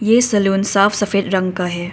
ये सैलून साफ सफेद रंग का है।